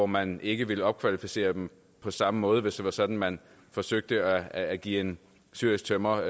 man ikke ville opkvalificere dem på samme måde hvis det var sådan man forsøgte at give en syrisk tømrer